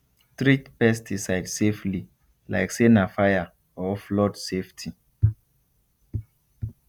treat pesticide safety like say na fire or flood safety